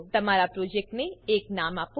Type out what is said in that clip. તમારા પ્રોજેક્ટને એક નામ આપો